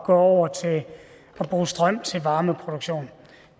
gå over til at bruge strøm til varmeproduktion